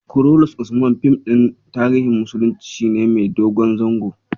"Kurulus Usman" fim ɗin tarihin musulunci ne mai dogon zango.